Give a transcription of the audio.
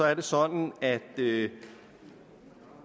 er det sådan at det